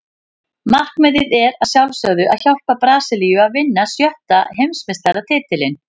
Markmiðið er að sjálfsögðu að hjálpa Brasilíu að vinna sjötta Heimsmeistaratitilinn.